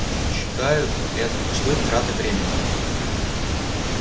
считают это пустой тратой времени